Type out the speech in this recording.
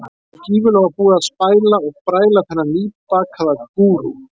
Svo gífurlega var búið að spæla og bræla þennan nýbakaða gúrú.